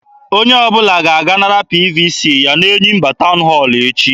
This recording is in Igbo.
Onye ọbụla ga-aga nara PVC ya n'Enyimba town hall echi.